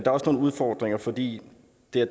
også nogle udfordringer fordi